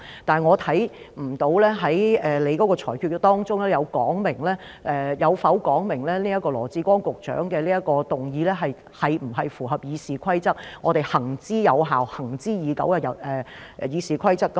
但是，從你的裁決當中，我看不到有否說明羅致光局長這項議案是否符合我們行之有效、行之以久的《議事規則》。